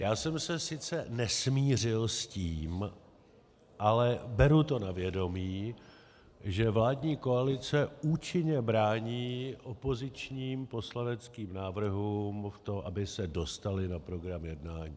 Já jsem se sice nesmířil s tím, ale beru to na vědomí, že vládní koalice účinně brání opozičním poslaneckým návrhům v tom, aby se dostaly na program jednání.